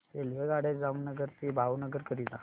रेल्वेगाड्या जामनगर ते भावनगर करीता